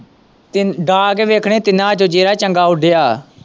ਡਾਂਅ ਕੇ ਵੇਖਣੇ ਸੀ ਤਿੰਨਾਂ ਚੋਂ ਜਿਹੜਾ ਚੰਗਾ ਉੱਡਿਆ।